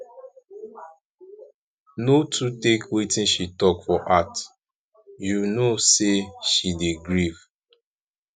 no too take wetin she talk for heart you know sey she dey grief